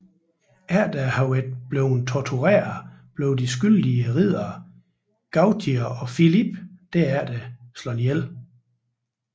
Efter at være blevet tortureret blev de skyldige riddere Gautier og Philippe derefter dræbt